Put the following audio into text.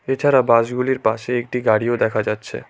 এছাড়া বাসগুলির পাশে একটি গাড়িও দেখা যাচ্ছে।